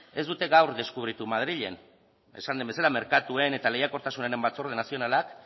ez dute gaur deskubritu madrilen esan den bezala merkatuen eta lehiakortasunaren batzorde nazionalak